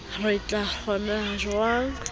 ka re kgohlano e thehilwe